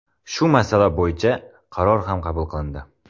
Shu masala bo‘yicha qaror ham qabul qilindi.